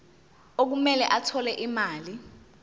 okumele athole imali